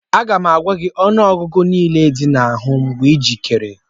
Aga m agwa gị ọnụọgụgụ ihe niile ndị ahụ mgbe ị dị njikere